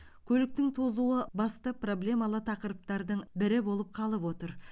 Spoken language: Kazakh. көліктің тозуы басты проблемалы тақырыптардың бірі болып қалып отыр